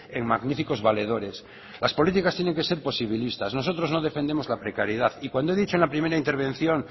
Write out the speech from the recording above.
en magníficos valedores las políticas tienen que ser posibilistas nosotros no defendemos la precariedad y cuando he dicho en la primera intervención